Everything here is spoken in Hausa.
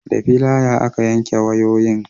da filaya aka yanke wayoyin